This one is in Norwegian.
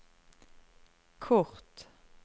kort